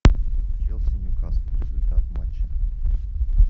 челси ньюкасл результат матча